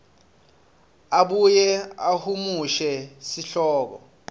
abuye ahumushe sihloko